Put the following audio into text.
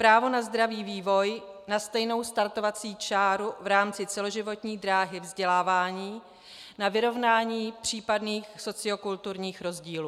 Právo na zdravý vývoj, na stejnou startovací čáru v rámci celoživotní dráhy vzdělávání, na vyrovnání případných sociokulturních rozdílů.